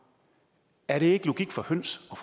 er det ikke logik for høns og